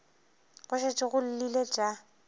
go šetše go llile tša